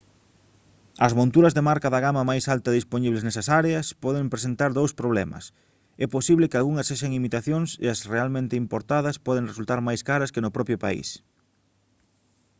as monturas de marca da gama máis alta dispoñibles nesas áreas poden presentar dous problemas é posible que algunhas sexan imitacións e as realmente importadas poden resultar máis caras que no propio país